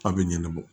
A bɛ ɲɛnabɔ